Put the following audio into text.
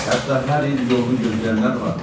Hətta hər il yolunu gözləyənlər vardı.